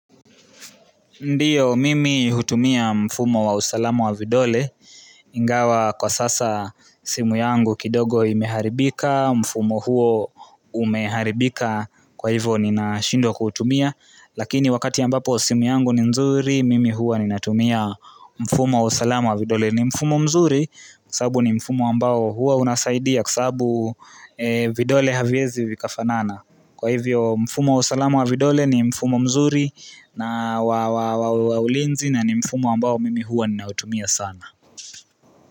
Ndiyo, mimi hutumia mfumo wa usalama wa vidole, ingawa kwa sasa simu yangu kidogo imeharibika, mfumo huo umeharibika kwa hivyo nina shindwa kuutumia Lakini wakati ambapo simu yangu ni nzuri, mimi huwa ninatumia mfumo wa usalama wa vidole ni mfumo mzuri kwa sababu ni mfumo ambao huwa unasaidia kwa sababu vidole haviwezi vikafanana Kwa hivyo mfumo wa usalama wa vidole ni mfumo mzuri na wa ulinzi na ni mfumo ambao mimi huwa ninautumia sana.